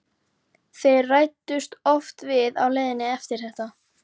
Þeir ræddust oft við á leiðinni eftir þetta.